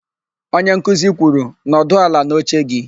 Onyenkuzi kwuru, "nọdụ ala n'oche gị"!